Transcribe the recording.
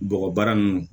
Bɔgɔbaara ninnu